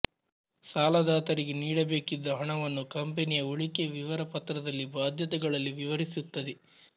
ಸಾಲದಾತರಿಗೆ ನೀಡಬೇಕಿದ್ದ ಹಣವನ್ನು ಕಂಪನಿಯ ಉಳಿಕೆ ವಿವರ ಪತ್ರದಲ್ಲಿ ಭಾದ್ಯತೆಗಳಲ್ಲಿ ವಿವರಿಸಿರುತದ್ದೆ